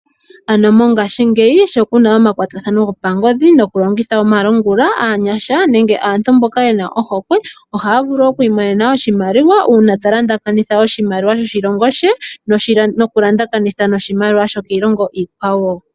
Ano mongashiingeyi sho kuna omakwatathano gopa ngodhi noku longitha omalungula, aanyasha nenge aantu mboka yena ohokwe ohaya vulu oku imonena oshimaliwa uuna ta taambatha oshimaliwa sho shilongo she, noku taambathana noshimaliwa sho kiilongo iikwawo.